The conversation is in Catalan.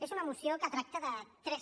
és una moció que tracta de tres